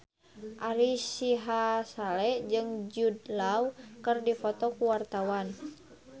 Ari Sihasale jeung Jude Law keur dipoto ku wartawan